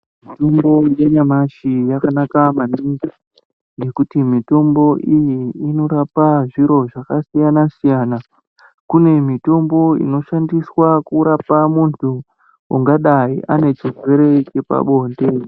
Mitombo yanyamashi yakanaka maningi ngekuti mitombo iyi inorapa zviro zvakasiyana siyana kune mitombo inoshandiswa kurapa muntu ungadai anechirwere chepabonde.